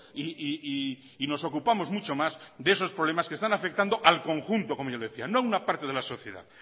y nos ocupamos mucho más de esos problemas que están afectando al conjunto como yo le decía no a una parte de la sociedad